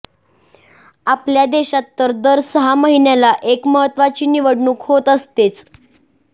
आपल्या देशात तर दर सहा महिन्याला एक महत्त्वाची निवडणूक होत असतेच